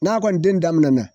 N'a kɔni den daminɛ na.